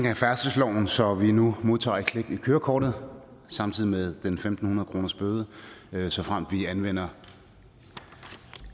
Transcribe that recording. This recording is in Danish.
af færdselsloven så vi nu modtager et klip i kørekortet samtidig med en tusind fem hundrede kronersbøden såfremt vi anvender